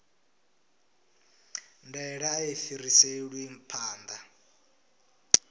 ndaela a i fhiriselwi phanḓa